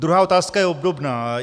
Druhá otázka je obdobná.